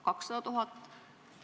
200 000?